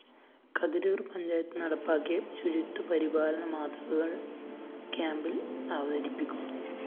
കതിരൂര്‍ പഞ്ചായത്ത് നടപ്പാക്കിയ ശുചിത്വ പരിപാലന മാതൃകള്‍ ക്യാംപില്‍ അവതരിപ്പിക്കും